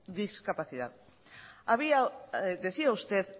discapacidad había decía usted